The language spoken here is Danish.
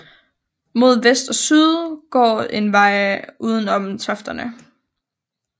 Mod vest og syd går en vej udenom tofterne